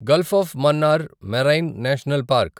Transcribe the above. Gulf of Mannar Marine National park